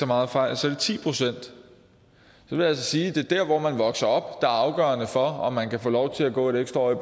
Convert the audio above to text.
meget fejl er ti procent det vil altså sige at det er der hvor man vokser op der er afgørende for om man kan få lov til at gå et ekstra år i